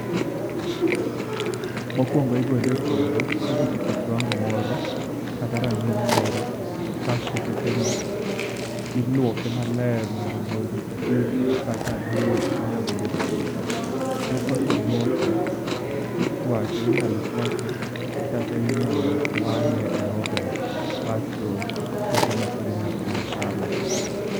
Mokuongo igole epuodho kosechopo kiwango moro kata rang'iny moro, kasto tokeno iluoke maler mondo gol chilo kata lowo moago epuodho. Tok kose luoke, tichuake, inyalo chuake kata inyalo wang'e e oven kasto tokeno inyalo mana chame.